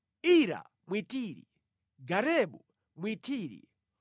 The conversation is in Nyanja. Ira Mwitiri, Garebu Mwitiri,